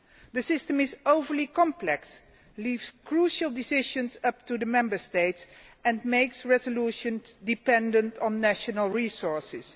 The system is overly complex, it leaves crucial decisions up to the Member States and makes resolutions dependent on national resources.